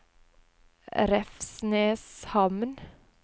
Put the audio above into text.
Revsneshamn